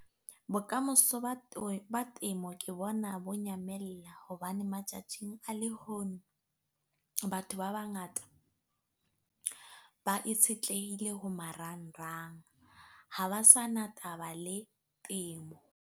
Bokamoso ba temo ke bona bo nyamella hobane matjatjing a le hono, batho ba bangata ba itshetlehile ho marangrang ha ba sana taba le temo.